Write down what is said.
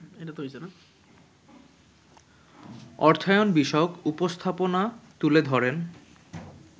অর্থায়ন বিষয়ক উপস্থাপনা তুলে ধরেন